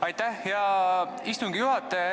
Aitäh, hea istungi juhataja!